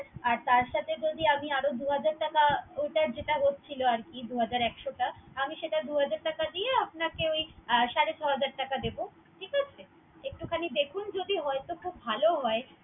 আর তার সাথে যদি আমি আরো দু হাজার টাকা। ওটার যেটা হচ্ছিল আরকি দু হাজার একশা টাকা। আমি সেটা দুহাজার টাকা দিয়ে আপনাকে ওই সাড়ে ছয় হাজার টাকা দিবো।